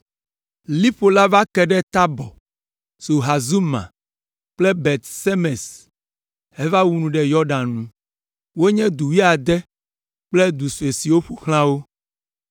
Liƒo la va ke ɖe Tabɔr, Sahazuma kple Bet Semes heva wu nu ɖe Yɔdan nu. Wonye du wuiade kple du sue siwo ƒo xlã wo.